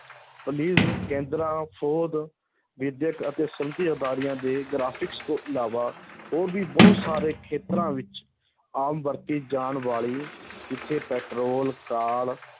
police ਕੇਂਦਰਾਂ ਫ਼ੌਜ ਵਿੱਦਿਅਕ ਤੇ ਅਦਾਰਿਆ ਦੇ graphics ਤੋਂ ਇਲਾਵਾ ਹੋਰ ਵੀ ਬਹੁਤ ਸਾਰੇ ਖੇਤਰਾਂ ਵਿੱਚ ਆਮ ਵਰਤੀ ਜਾਣ ਵਾਲ, ਜਿੱਥੇ ਪੈਟਰੋਲ, ਕਾਲ